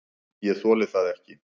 ÉG ÞOLI ÞAÐ EKKI!